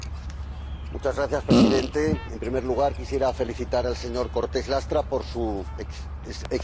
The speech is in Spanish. Señor Presidente, en primer lugar quisiera felicitar al señor Cortés Lastra por su excelente informe.